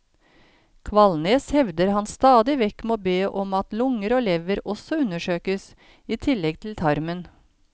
Kvalnes hevder han stadig vekk må be om at lunger og lever også undersøkes, i tillegg til tarmen.